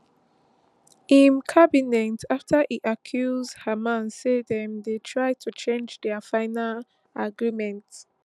im cabinet afta e accuse hamas say dem dey try to change di final agreement